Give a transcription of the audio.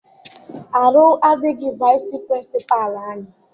Arụ adịghị vaịsị pịrịnsịpalụ anyị.